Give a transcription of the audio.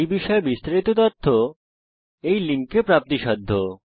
এই বিষয়ে বিস্তারিত তথ্য এই লিঙ্কে প্রাপ্তিসাধ্য